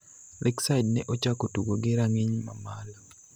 Lakeside ne ochako tugo gi rang'iny mamalo